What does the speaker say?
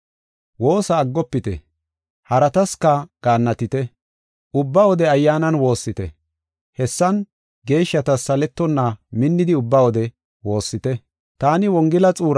Woossa aggofite; haratasika gaannatite; ubba wode Ayyaanan woossite. Hessan, geeshshatas saletonna minnidi ubba wode woossite. Roome Wotaadarey Kumetha Ola Miishe Ma77idi